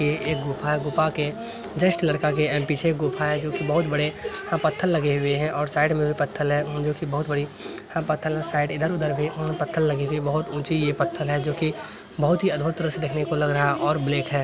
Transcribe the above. एक गुफा है गुफा के जस्ट लड़का के अ पीछे गुफा है जो की बहुत बड़े अ पत्थर लगे हुए हैं और साइड में भी पत्थल है जो की बहुत बड़ी पत्थल अ साइड इधर उधर भी पत्थल लगेगी बहत ऊँची ये पत्थल है जो की बहुत ही अद्भुत तरह से दखने को लग रहा और ब्लेक है।